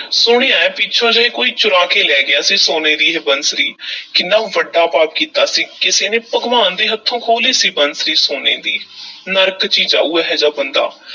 ਸੁਣਿਆ ਏ ਪਿੱਛੇ ਜਿਹੇ ਕੋਈ ਚੁਰਾ ਕੇ ਲੈ ਗਿਆ ਸੀ, ਸੋਨੇ ਦੀ ਇਹ ਬੰਸਰੀ ਕਿੰਨਾ ਵੱਡਾ ਪਾਪ ਕੀਤਾ ਸੀ, ਕਿਸੇ ਨੇ ਭਗਵਾਨ ਦੇ ਹੱਥੋਂ ਖੋਹ ਲਈ ਸੀ ਬੰਸਰੀ, ਸੋਨੇ ਦੀ ਨਰਕ 'ਚ ਹੀ ਜਾਊ ਇਹ ਜਿਹਾ ਬੰਦਾ।